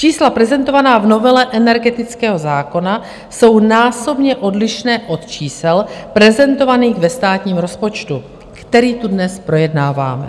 Čísla prezentovaná v novele energetického zákona jsou násobně odlišná od čísel prezentovaných ve státním rozpočtu, který tu dnes projednáváme.